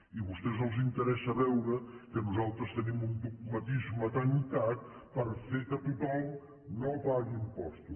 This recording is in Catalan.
i a vostès els interessa veure que nosaltres tenim un dogmatisme tancat per fer que tothom no pagui impostos